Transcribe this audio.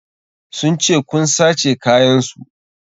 Sun ce kun sace kayan su.